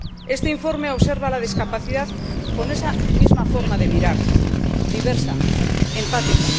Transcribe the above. Este informe observa la discapacidad con esa misma forma de mirar diversa, empática.